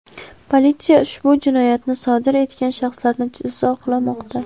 Politsiya ushbu jinoyatni sodir etgan shaxslarni izlamoqda.